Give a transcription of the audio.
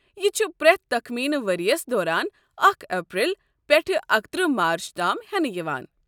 یہِ چھُ پرٛٮ۪تھ تخمینہٕ ؤریس دوران اکھ اپریل پٮ۪ٹھٕ اکترٕہ مارچ تام ہٮ۪نہٕ یوان۔